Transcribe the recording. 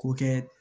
K'o kɛ